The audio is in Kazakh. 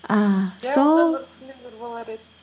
ііі болар еді